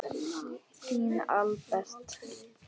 Þinn Albert.